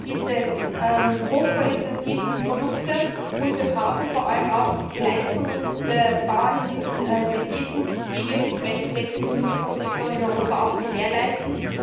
Wir brauchen diese hochqualitativen Produkte, und wir brauchen vor allem auch die Leistungen der Bauern in diesen Gebieten, die wirklich flächendeckende Milchproduktion in Europa auch gewährleisten.